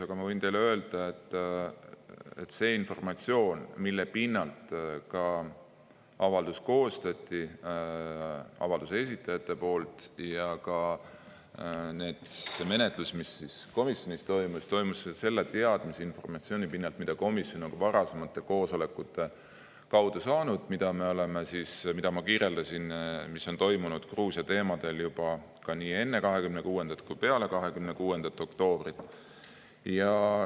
Aga ma võin teile öelda, et avalduse esitajad koostasid avalduse ja ka see menetlus, mis komisjonis toimus, toimus selle teadmise, informatsiooni pinnal, mida komisjon on saanud ka varasematel koosolekutel, mis, nagu ma kirjeldasin, on toimunud Gruusia teemadel juba nii enne 26. kui peale 26. oktoobrit.